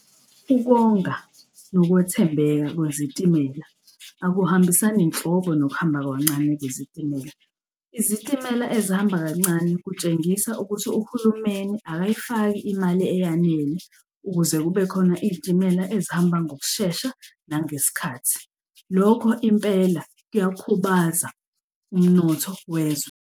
Ukonga nokwethembeka kwezitimela akuhambisani nhlobo, nokuhamba kancane kwezitimela. Izitimela ezihamba kancane kutshengisa ukuthi uhulumeni akayifaki imali eyanele ukuze kubekhona iy'timela ezihamba ngokushesha nangesikhathi. Lokho impela kuyakhubaza umnotho wezwe.